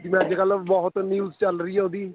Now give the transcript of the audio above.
ਜਿਵੇਂ ਅੱਜਕਲ ਬਹੁਤ news ਚੱਲ ਰਹੀ ਏ ਉਹਦੀ